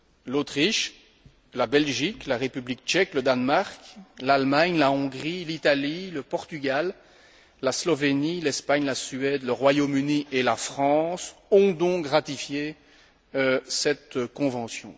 L'Autriche, la Belgique, la République tchèque, le Danemark, l'Allemagne, la Hongrie, l'Italie, le Portugal, la Slovénie, l'Espagne, la Suède, le Royaume Uni et la France ont donc ratifié cette convention.